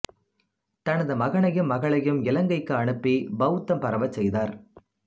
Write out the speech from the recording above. தனது மகனையும் மகளையும் இலங்கைக்கு அனுப்பி பௌத்தம் பரவச் செய்தார்